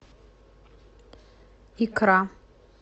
икра